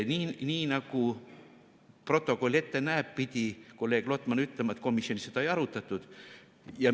Nii nagu protokoll ette näeb, pidi kolleeg Lotman ütlema, et komisjonis seda ei arutatud.